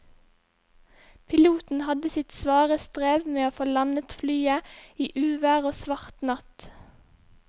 Piloten hadde sitt svare strev med å få landet flyet i uvær og svart natt.